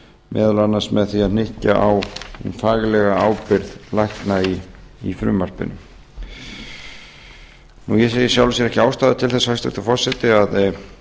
meðal annars með því að hnykkja á faglegri ábyrgð lækna í frumvarpinu ég sé í sjálfu sér ekki ástæðu til þess hæstvirtur forseti að